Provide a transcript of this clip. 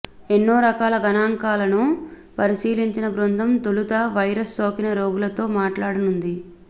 ఎన్నో రకాల గణాంకాలను పరిశీలించిన బృందం తొలుత వైరస్ సోకిన రోగులతో మాట్లాడనుంది